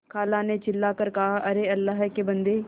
खाला ने चिल्ला कर कहाअरे अल्लाह के बन्दे